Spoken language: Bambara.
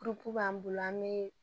b'an bolo an be